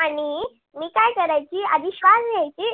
आणि मी काय करायची आधी श्वास घ्यायची